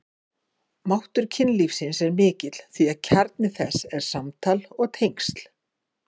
Máttur kynlífsins er mikill því kjarni þess er samtal og tengsl.